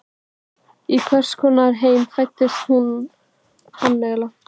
Í hvers konar heim fæddi hún hann eiginlega?